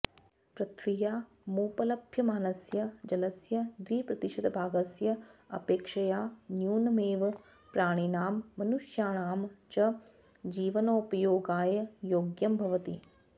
पृथिव्यामुपलभ्यमानस्य जलस्य द्विप्रतिशतभागस्य अपेक्षया न्यूनमेव प्राणिनां मनुष्याणां च जीवनोपयोगाय योग्यं भवति